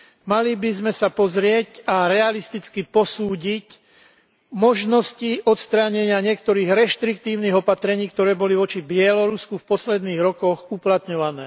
Mali by sme sa pozrieť a realisticky posúdiť možnosti odstránenia niektorých reštriktívnych opatrení, ktoré boli voči Bielorusku v posledných rokoch uplatňované.